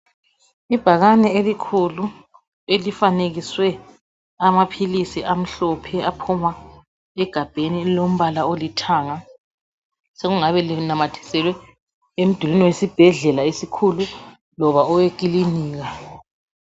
Ibhakane elikhulu elifanekiswe amaphilisi amhlophe aphuma egabheni elilombala olithanga sokungabe linamathiselwe emdulini wesibhedlela esikhulu loba owekilinika.